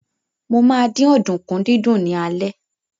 Mo ma dín ọ̀dùnkún dídún ní alẹ́